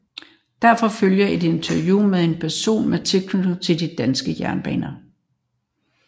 Derefter følger et interview med en person med tilknytning til de danske jernbaner